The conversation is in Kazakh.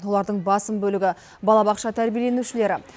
олардың басым бөлігі балабақша тәрбиеленушілері